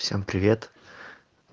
всем привет